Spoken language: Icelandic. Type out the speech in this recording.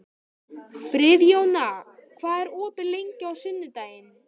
Friðjóna, hvað er opið lengi á sunnudaginn?